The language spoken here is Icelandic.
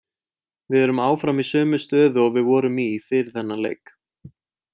Við erum áfram í sömu stöðu og við vorum í fyrir þennan leik.